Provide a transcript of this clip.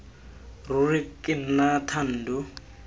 ruri rra ke nna thando